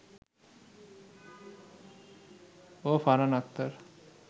ও Farhan Akhtar